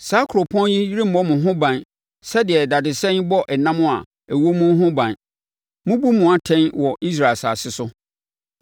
Saa kuropɔn yi remmɔ mo ho ban sɛdeɛ dadesɛn bɔ ɛnam a ɛwɔ mu no ho ban; Mɛbu mo atɛn wɔ Israel asase so.